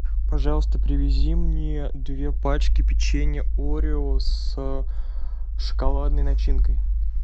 пожалуйста привези мне две пачки печенья орео с шоколадной начинкой